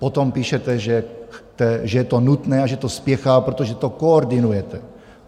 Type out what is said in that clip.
Potom píšete, že je to nutné a že to spěchá, protože to koordinujete.